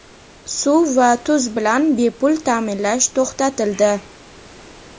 suv va tuz bilan bepul ta’minlash to‘xtatildi.